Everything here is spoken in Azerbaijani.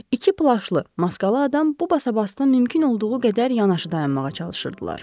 İki plaşlı, maskalı adam bu basabasıda mümkün olduğu qədər yanaşı dayanmağa çalışırdılar.